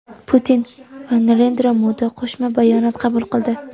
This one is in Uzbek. Putin va Narendra Modi qo‘shma bayonot qabul qildi.